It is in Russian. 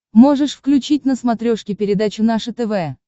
можешь включить на смотрешке передачу наше тв